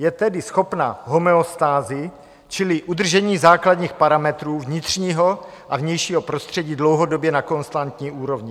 Je tedy schopna homeostázy, čili udržení základních parametrů vnitřního a vnějšího prostředí dlouhodobě na konstantní úrovni.